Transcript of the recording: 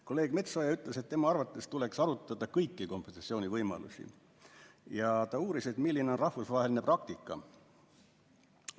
Kolleeg Metsoja ütles, et tema arvates tuleks arutada kõiki kompensatsioonivõimalusi, ja ta uuris, milline on rahvusvaheline praktika.